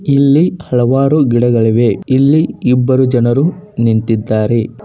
ಇಲ್ಲಿ ಹಲವಾರು ಗಿಡಗಳಿವೆ ಇಲ್ಲಿ ಇಬ್ಬರು ಜನರು ನಿಂತಿದ್ದಾರೆ.